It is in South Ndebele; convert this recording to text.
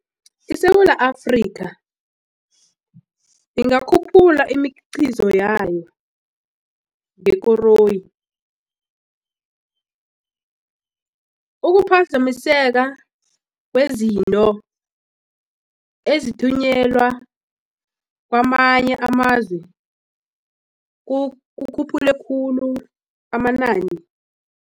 ISewula Afrika ingakhuphula imikhiqizo yayo ngekoroyi ukuphazamiseka kwezinto ezithunyelwa kwamanye amazwe kukhuphule khulu amanani.